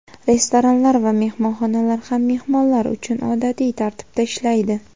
Restoranlar va mehmonxonalar ham mehmonlar uchun odatiy tartibda ishlaydi.